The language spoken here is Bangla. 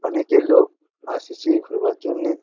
অনেকই লোক আসিছে ঘুরবার জন্যে ।